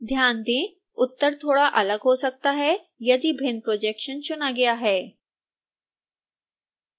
ध्यान दें उत्तर थोड़ा अलग हो सकता है यदि भिन्न projection चुना गया है